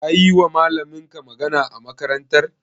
Kayiwa malaminka magana a makarantar?